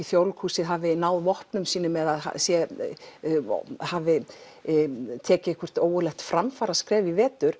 Þjóðleikhúsið hafi náð vopnum sínum eða hafi tekið einhvert ógurlegt framfaraskref í vetur